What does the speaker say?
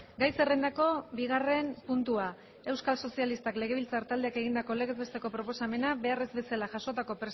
gai zerrendako bigarren puntua euskal sozialistak legebiltzar taldeak egindako legez besteko proposamena behar ez bezala jasotako